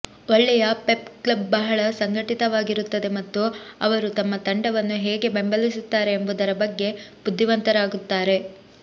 ಒಳ್ಳೆಯ pep club ಬಹಳ ಸಂಘಟಿತವಾಗಿರುತ್ತದೆ ಮತ್ತು ಅವರು ತಮ್ಮ ತಂಡವನ್ನು ಹೇಗೆ ಬೆಂಬಲಿಸುತ್ತಾರೆ ಎಂಬುದರ ಬಗ್ಗೆ ಬುದ್ಧಿವಂತರಾಗುತ್ತಾರೆ